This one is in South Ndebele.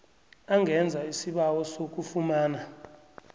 angenza isibawo sokufumana